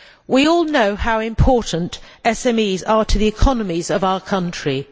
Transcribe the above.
We all know how important SMEs are to the economies of our countries.